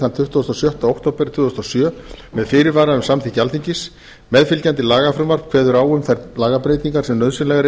þann tuttugasta og sjötta október tvö þúsund og sjö með fyrirvara um samþykki alþingis meðfylgjandi lagafrumvarp kveður á um þær lagabreytingar sem nauðsynlegar